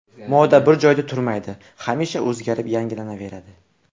Moda bir joyda turmaydi, hamisha o‘zgarib, yangilanaveradi.